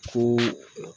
Ko